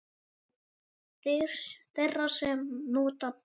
Þeirra sem nota bindi?